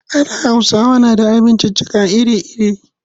A da Hausawa na da abinciccika iri-iri.